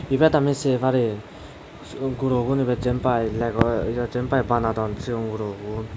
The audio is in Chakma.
ibet ami se parir suod gurogun ibet jiyenpai lego ya jiyenpai banadon sigon gurogun.